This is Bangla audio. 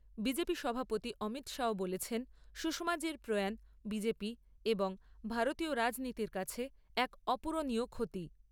বিজেপি সভাপতি অমিত শাহ বলেছেন, সুষমাজির প্রয়াণ বিজেপি এবং ভারতীয় রাজনীতির কাছে এক অপূরণীয় ক্ষতি।